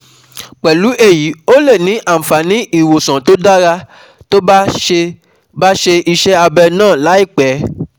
Pẹ̀lú èyí ó lè ní àǹfààní ìwòsàn tó dára tó bá ṣe bá ṣe iṣẹ́ abẹ náà láìpẹ́